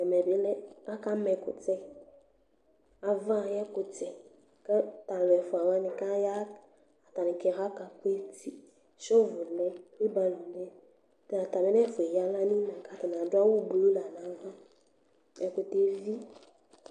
Ɛmɛbi akama ɛkʋtɛ, ava ayʋ ɛkʋtɛ, kʋ atalʋ ɛfʋawani kʋ aya atabi aka peti. Shovʋlɛ, wibarolɛ atami nʋ ɛfʋa yɛ eya aɣla nʋ inqga atani adʋ awʋblu lanʋ avi ɛkʋtɛ evi.